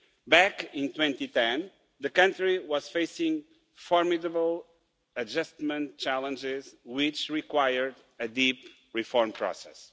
Back in 2010, the country was facing formidable adjustment challenges which required a deep reform process.